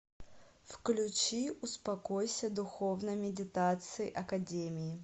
включи успокойся духовной медитации академии